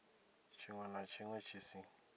tshiṅwe na tshiṅwe tshi si